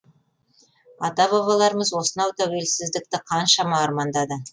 ата бабаларымыз осынау тәуелсіздікті қаншама армандады